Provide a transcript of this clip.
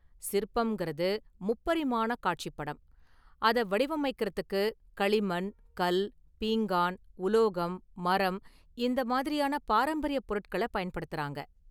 சிற்பம்ங்கிறது முப்பரிமாண காட்சிப் படம், அத வடிவமைக்கிறதுக்கு களிமண், கல், பீங்கான், உலோகம், மரம் இந்த மாதிரியான பாரம்பரிய பொருட்கள பயன்படுத்துறாங்க.